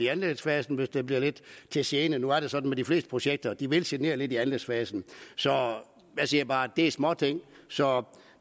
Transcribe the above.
anlægsfasen hvis den bliver lidt til gene nu er det sådan med de fleste projekter at de vil genere lidt i anlægsfasen jeg siger bare at det er småting så